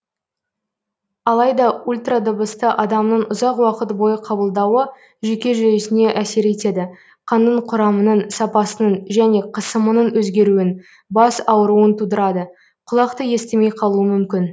алайда ультрадыбысты адамның ұзақ уақыт бойы қабылдауы жүйке жүйесіне әсер етеді қанның құрамының сапасының және қысымының өзгеруін бас ауруын тудырады құлақ та естімей қалуы мүмкін